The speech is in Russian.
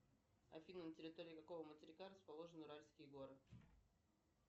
афина на территории какого материка расположены уральские горы